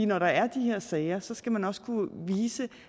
når der er de her sager skal man også kunne vise